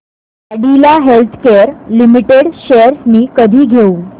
Cadila healthcare limited shares मी कधी घेऊ